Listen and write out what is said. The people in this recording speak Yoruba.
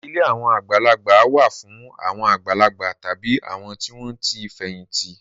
Ilé àwọn àgbàlagbà wà fún àwọn àgbàlagbà tàbí àwọn tí wọ́n ti fẹ̀yìntì.